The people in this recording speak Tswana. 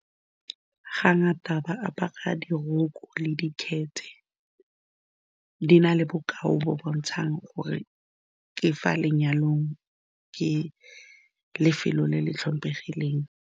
Ga ngata ba apara diroko le dikgethe, di na le bokao bo bo bontshang gore ke fa lenyalong, ke lefelo le le tlhomphegileng.